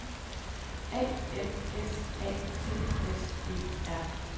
A N S A T S E R